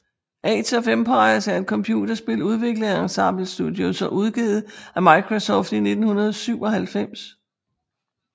Age of Empires er et computerspil udviklet af Ensemble Studios og udgivet af Microsoft i 1997